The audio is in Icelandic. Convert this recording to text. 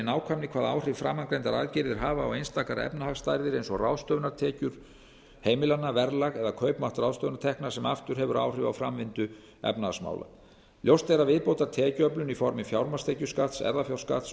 nákvæmni hvaða áhrif framangreindar aðgerðir hafa á einstakar efnahagsstærðir eins og ráðstöfunartekjur heimilanna verðlag eða kaupmátt ráðstöfunartekna sem aftur hefur áhrif á framvindu efnahagsmála ljóst er að viðbótartekjuöflun í formi fjármagnstekjuskatts erfðafjárskatts